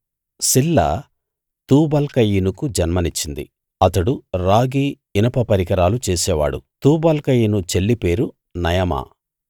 సిల్లా తూబల్కయీనుకు జన్మనిచ్చింది అతడు రాగి ఇనప పరికరాలు చేసేవాడు తూబల్కయీను చెల్లి పేరు నయమా